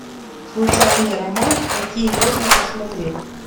случайный роман какие можно посмотреть